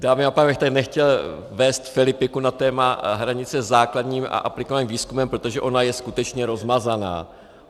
Dámy a pánové, já bych tady nechtěl vést filipiku na téma hranice mezi základním a aplikovaným výzkumem, protože ona je skutečně rozmazaná.